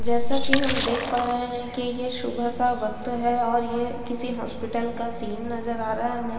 जैसा कि हम देख पा रहे हैं कि ये सुबह का वक्त है और ये किसी हॉस्पिटल का सीन नजर आ रहा है हमे।